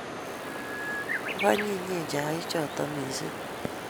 Ko anyinyen chaik chotok missing'